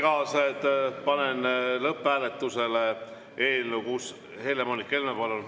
Kas juhtus midagi?